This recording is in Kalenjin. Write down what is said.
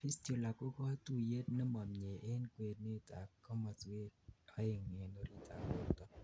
fistula ko katuyet nemomie en kwenet ak komoswek oeng en oritit ab borto